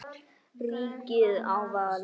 Ríkið á val.